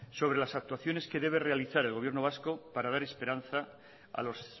sobre las actuaciones que debe realizar el gobierno vasco para dar esperanza a los